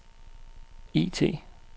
IT